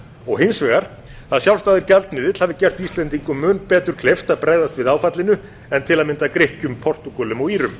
og hins vegar að sjálfstæður gjaldmiðill hafi gert íslendingum mun betur kleift að bregðast við áfallinu en til að mynda grikkjum portúgölum og írum